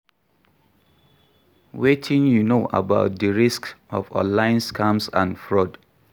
Wetin you know about di risks of online scams and fraud?